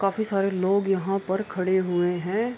काफी सारे लोग यहाँ पे खड़े हुए हैं।